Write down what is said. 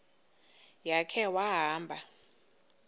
ya khe wahamba